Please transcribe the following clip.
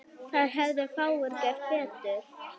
Þar hefðu fáir gert betur.